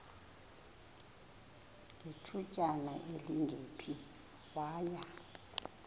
ngethutyana elingephi waya